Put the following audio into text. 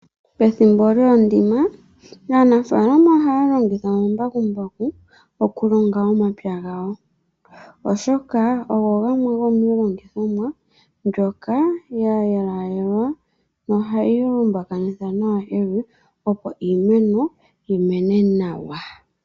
Pethimbo lyokulonga aanafalama ohaya longitha omambakumbaku oku longa omapya gawo, oshoka ogo gamwe gomiilongithomwa mbyoka ya yaalelwa nohayi lombakanitha nawa evi opo iimeno yi mene nawa.